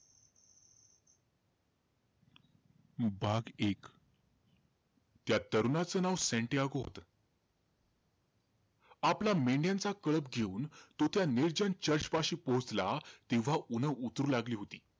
भाग एक. त्या तरुणाचं नाव सॅंटियागो होतं. आपल्या मेंढ्यांचा कळप घेऊन तो त्या निर्जन church पाशी पोहोचला, तेव्हा ऊन्ह उतरू लागली होती.